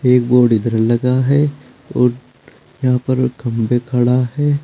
एक बोर्ड इधर लगा है और यहां पर खंभे खड़ा है।